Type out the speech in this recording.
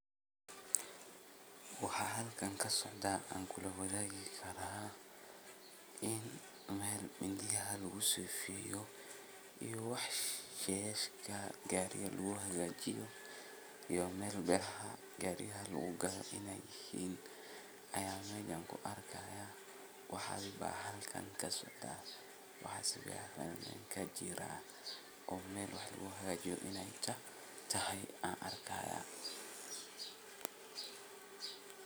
Waxa halkan kasocda an kulawadhagi Kara in Mel midiyaha lagusefiyo iya wax sheeshka gariga laguhagajiyo iyo mel beca gariyaha lagugadha inay yihin aya meshan kuarki haya. Waxa halkan kasocda wax safican kajira oo Mel wax laguhagajiyo inay tahay an arki haya.